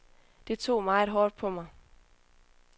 Det tog meget hårdt på mig.